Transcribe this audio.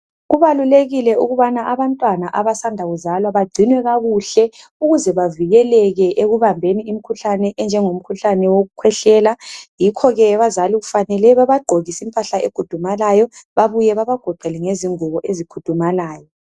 Kubalulekile ukubana abantwana abasanda kuzalwa bagcinwe kakuhle ukuze bavikeleke ekubambeni imkhuhlane enjengo mkhuhlane wokukhwehlela. Yikho ke abazali kufanele babagqokise impahla egudumalayo babuye babagoqele ngezingubo ezikhudumalayo.